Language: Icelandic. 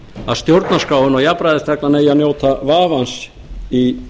að stjórnarskráin og jafnræðisreglan eigi að njóta vafans í